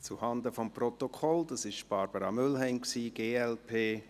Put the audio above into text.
Zuhanden des Protokolls, dies war Barbara Mühlheim, glp.